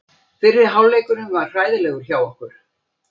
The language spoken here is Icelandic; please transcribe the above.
Fyrri hálfleikurinn var hræðilegur hjá okkur.